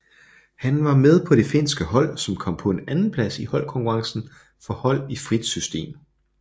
Han var med på det finske hold som kom på en andenplads i holdkonkurrencen for hold i frit system